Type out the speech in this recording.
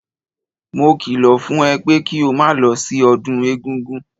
Mo kìlọ̀ fún ẹ pé kí o máa lọ sí ọdún egúngún!